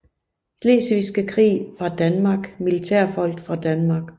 Slesvigske Krig fra Danmark Militærfolk fra Danmark